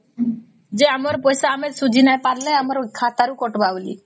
ଯେ ଆମର ପଇସା ଆମେ ସୁଝି ନାଇଁ ପାରିଲେ ଆମର ଖାତା ରୁ କାଟିବେ ବୋଲି